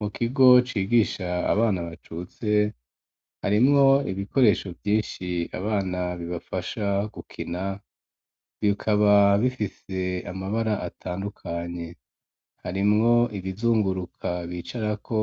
Mu kigo cigisha abana bacutse harimwo ibikoresho vyinshi abana bibafasha gukina bikaba bifise amabara atandukanye harimwo ibizunguruka bicarako